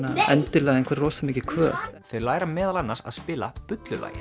endilega einhver rosamikil kvöð þau læra meðal annars að spila